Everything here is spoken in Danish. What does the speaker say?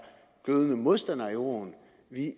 glødende modstandere af euroen